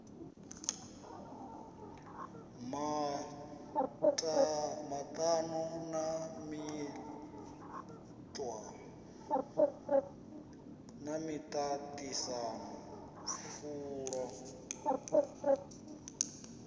maṱano na miṱa ṱisano pfulo